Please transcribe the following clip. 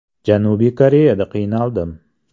Janubiy Koreyada qiynaldim.